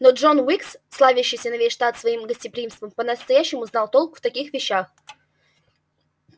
но джон уилкс славящийся на весь штат своим гостеприимством по-настоящему знал толк в таких вещах